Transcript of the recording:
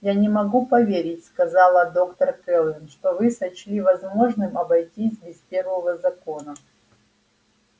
я не могу поверить сказала доктор кэлвин что вы сочли возможным обойтись без первого закона